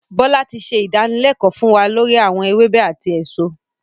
Bọlá tí ṣe ìdánilẹ̀kọ̀ fún wa lori awọn ewébẹ̀ àti èso.